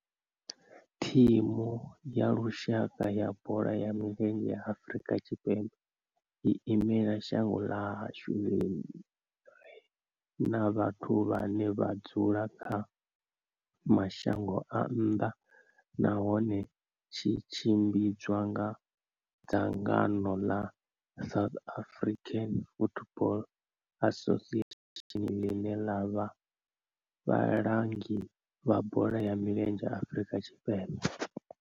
Thimu ya lushaka ya bola ya milenzhe ya Afrika Tshipembe i imela shango ḽa hashu ḽi re na vhathu vhane vha dzula kha mashango a nnḓa nahone zwi tshimbidzwa nga dzangano la South African Football Association line la vha vhalangi vha bola ya milenzhe Afrika Tshipembe.